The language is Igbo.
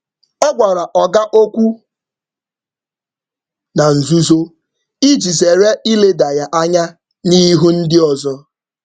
Ọ gwara oga okwu na nzuzo iji zere ileda ya anya n’ihu ndị ọzọ.